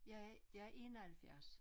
Jeg er jeg 71